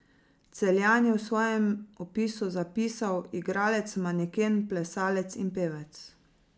Celjan je v svojem opisu zapisal, igralec, maneken, plesalec in pevec.